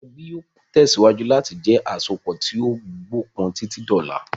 Ẹbí yìí ó tẹ̀síwájú láti jẹ àsopọ̀ tí ó gbó pọn títí di ọlá.